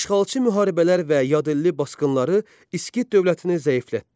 İşğalçı müharibələr və yadelli basqınları İskit dövlətini zəiflətdi.